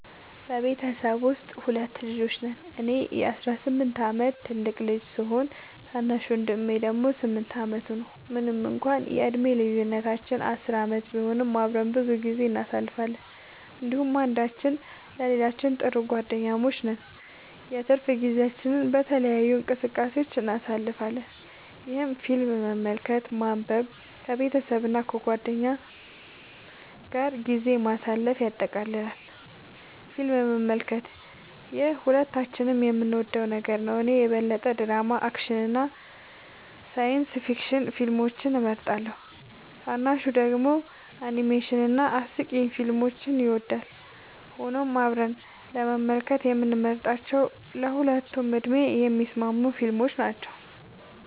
በቤተሰቤ ውስጥ ሁለት ልጆች ነን - እኔ የ18 ዓመት ትልቁ ልጅ ሲሆን፣ ታናሽ ወንድሜ ደግሞ 8 ዓመቱ ነው። ምንም እንኳን የዕድሜ ልዩነታችን 10 ዓመት ቢሆንም፣ አብረን ብዙ ጊዜ እናሳልፋለን እንዲሁም አንዳችን ለሌላችን ጥሩ ጓደኛሞች ነን። የትርፍ ጊዜያችንን በተለያዩ እንቅስቃሴዎች እናሳልፋለን፣ ይህም ፊልም መመልከትን፣ ማንበብን፣ ከቤተሰብ እና ከጓደኞች ጋር ጊዜ ማሳለፍን ያጠቃልላል። ፊልም መመልከት - ይህ ሁለታችንም የምንወደው ነገር ነው። እኔ የበለጠ ድራማ፣ አክሽን እና ሳይንስ ፊክሽን ፊልሞችን እመርጣለሁ፣ ታናሹ ደግሞ አኒሜሽን እና አስቂኝ ፊልሞችን ይወዳል። ሆኖም አብረን ለመመልከት የምንመርጣቸው ለሁለቱም ዕድሜ የሚስማሙ ፊልሞች ናቸው።